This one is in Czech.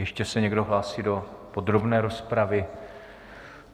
Ještě se někdo hlásí do podrobné rozpravy?